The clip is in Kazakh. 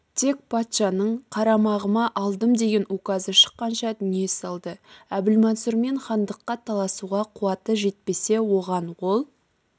тек патшаның қарамағыма алдым деген указы шыққанша дүние салды әбілмансұрмен хандыққа таласуға қуаты жетпесе оған ол